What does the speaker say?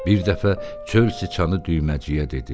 Bir dəfə Çöl siçanı düyməciyə dedi.